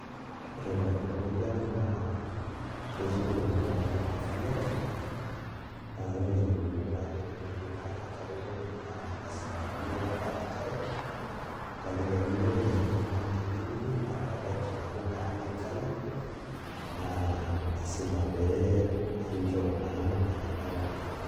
Ore taa tewuei ang' naa ketii iweujitin naarieki nkariak naa ore iyieunot naayienu pee ilo arr enkare tine naa lasima piiyiolo ataara enkare ore ake pee miyiolo nitalu oltung'ani likiliki naa keetai nkilani naarieki nkariak naa lasima pee inchop naa nena kilani.